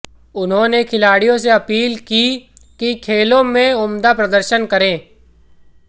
उन्होंने खिलाडि़यों से अपील की कि खेलों में उम्दा प्रदर्शन करें